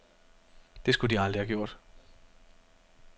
Det skulle de aldrig have gjort.